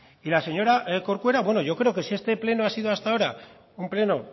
y la señora corcuera bueno yo creo que si este pleno ha sido hasta ahora un pleno